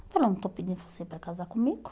Eu falei, eu não estou pedindo você para casar comigo.